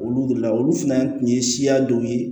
Olu de la olu fana tun ye siya dɔw ye